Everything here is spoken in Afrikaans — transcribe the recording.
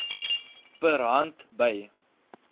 per hand by